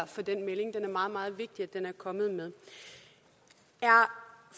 for den melding det er meget meget vigtigt at den er kommet med er